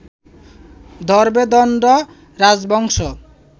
ধরবে দণ্ড রাজবংশ